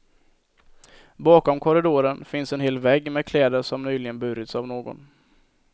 Bakom korridoren finns en hel vägg med kläder som nyligen burits av någon.